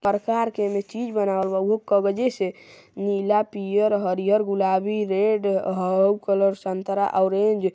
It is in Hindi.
प्रकार के एमे चीज बनावल बा। उहो कगजे से नीला पियर हरिहर गुलाबी रेड हउ कलर संतरा ओरेंज --